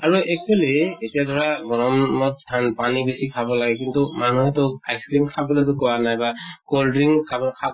আৰু actually এতিয়া ধৰা গৰমত ঠান্ পানী বেছি খাব লাগে। কিন্তু মানুহেটো ice cream খাবলে টো কোৱা নাই বা cold drink খাব খা